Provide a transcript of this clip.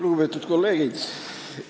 Lugupeetud kolleegid!